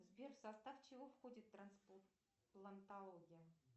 сбер в состав чего входит трансплантология